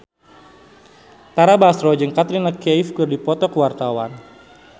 Tara Basro jeung Katrina Kaif keur dipoto ku wartawan